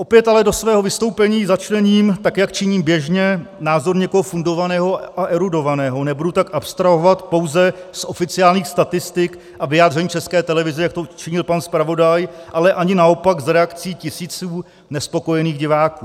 Opět ale do svého vystoupení začlením, tak jak činím běžně, názor někoho fundovaného a erudovaného, nebudu tak abstrahovat pouze z oficiálních statistik a vyjádření České televize, jak to učinil pan zpravodaj, ale ani naopak z reakcí tisíců nespokojených diváků.